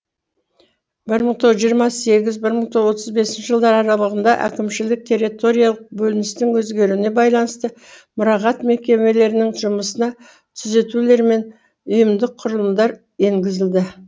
бір мың тоғыз жүз жиырма сегізінші бір мың тоғыз жүз отыз бесінші жылдар аралығында әкімшілік территориялық бөліністің өзгеруіне байланысты мұрағат мекемелерінің жұмысына түзетулер мен ұйымдық құрылымдар енгізілді